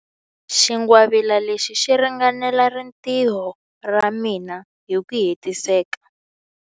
Xingwavila lexi xi ringanela rintiho ra mina hi ku hetiseka.